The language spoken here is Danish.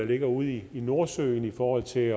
ligger ude i nordsøen i forhold til